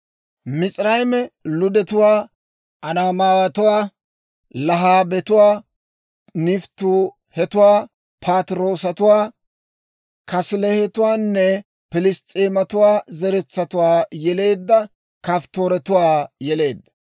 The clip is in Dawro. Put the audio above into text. Mis'irayme Ludetuwaa, Anaamaawatuwaa, Lahaabetuwaa, Nafttuuhetuwaa, Patiroosatuwaa, Kaasiluhetuwaanne Piliss's'eematuwaa zeretsatuwaa yeleedda Kafttooretuwaa yeleedda.